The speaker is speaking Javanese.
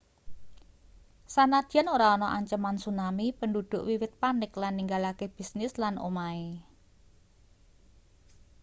sanadyan ora ana ancaman tsunami penduduk wiwit panik lan ninggalake bisnis lan omahe